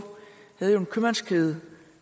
havde jo en købmandskæde